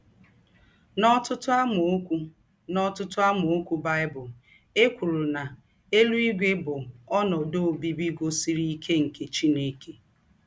N’ọ̀tụ̀tụ̀ àmàókù̄ N’ọ̀tụ̀tụ̀ àmàókù̄ Bible, è kwùrù nà “ ēlúígwè ” bụ̀ ‘ ònòdū̄ ǒbíbí gùzosìrì íké ’ nke Chìnèkè.